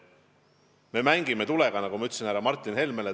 Me mängime tulega, nagu ma ütlesin ka härra Martin Helmele.